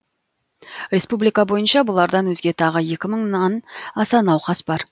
республика бойынша бұлардан өзге тағы екі мыңнан аса науқас бар